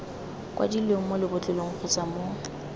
kwadilweng mo lebotlolong kgotsa mo